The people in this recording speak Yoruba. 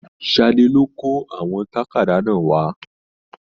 Sadé lo kó àwọn tàkádá náà wà.